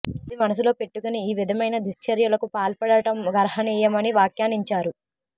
అది మనసులో పెట్టుకుని ఈ విధమైన దుశ్చర్యలకు పాల్పడటం గర్హనీయమని వ్యాఖ్యానించారు